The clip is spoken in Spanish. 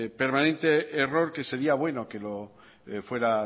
permanente error que sería bueno que lo fuera